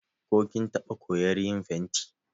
Ko kin taɓa koyar yin fenti?